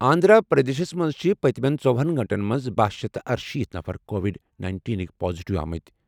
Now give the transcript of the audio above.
آنٛدھرا پرٛدیشس منٛز چھِ پٔتمہِ ژۄہن گٲنٛٹن منٛز بہہَ شیتھ تہٕ ارشیٖتھ نفر کووِڈ نَینِٹینٕکۍ پازِٹیو آمٕتۍ